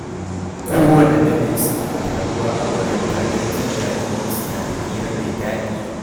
Kowanne dare, suna taruwa a baranda don jin daɗin iska da hira mai daɗi.